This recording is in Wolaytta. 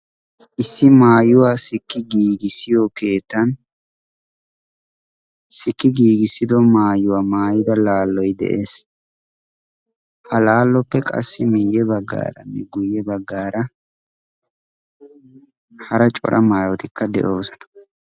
issi maayuwaa sikki giigissiyo keettan sikki giigissido maayuwaa maayida laalloi de7ees ha laalloppe qassi meeyye baggaara ne guyye baggaara hara cora maayootikka de7oosana